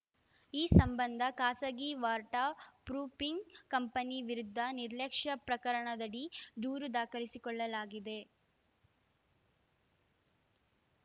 ಈ ಸಂಬಂಧ ಖಾಸಗಿ ವಾರ್ಟ ಪ್ರೂಫಿಂಗ್‌ ಕಂಪನಿ ವಿರುದ್ಧ ನಿರ್ಲಕ್ಷ್ಯ ಪ್ರಕರಣದಡಿ ದೂರು ದಾಖಲಿಸಿಕೊಳ್ಳಲಾಗಿದೆ